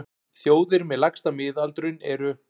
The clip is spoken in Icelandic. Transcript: Þjóðir með lægsta miðaldurinn eru: